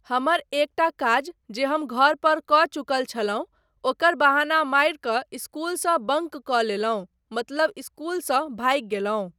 हमर एकटा काज जे हम घर पर कऽ चुकल छलहुँ ओकर बहाना मारि कऽ इस्कूलसँ बंक कऽ लेलहुँ मतलब इस्कूलसँ भागि गेलहुँ।